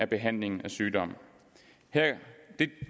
behandlingen af sygdomme